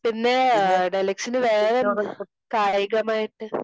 പിന്നെ ദലക്ഷിന് വേറെന്താ? കായികം ആയിട്ട്